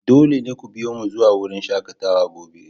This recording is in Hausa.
Dole ne ku biyo mu zuwa wurin shakatawa gobe!